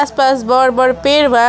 आसपास बड़ बड़ पेड़ बा।